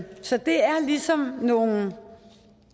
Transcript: så det er ligesom nogle